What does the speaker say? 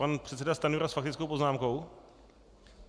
Pan předseda Stanjura s faktickou poznámkou?